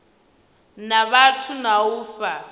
na vhathu na u fha